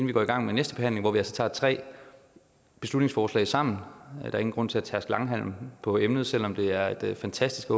vi går i gang med næste behandling hvor vi altså tager tre beslutningsforslag sammen og der er ingen grund til at tærske langhalm på emnet selv om det åbenbart er et fantastisk